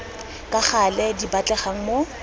ka gale di batlegang mo